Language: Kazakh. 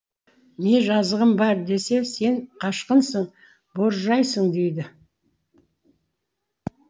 не жазығым бар десе сен қашқынсың боржайсың дейді